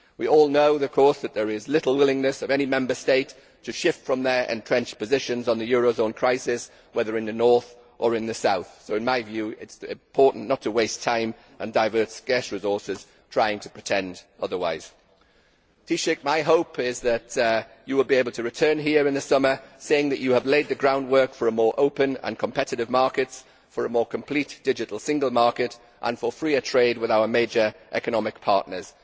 We all know of course that there is little willingness by any Member State to shift from their entrenched positions on the eurozone crisis, whether in the north or in the south, so in my view it is important not to waste time and divert scarce resources trying to pretend otherwise. Taoiseach, my hope is that you will be able to return here in the summer saying that you have laid the groundwork for a more open and competitive market, for a more complete digital single market and for freer trade with our major economic partners.